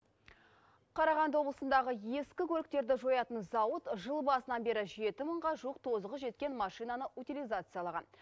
қарағанды облысындағы ескі көліктерді жоятын зауыт жыл басынан бері жеті мыңға жуық тозығы жеткен машинаны утилизациялаған